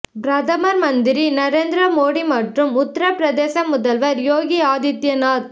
பிரதமர் மந்திரி நரேந்திர மோடி மற்றும் உத்தரபிரதேச முதல்வர் யோகி ஆதித்யநாத்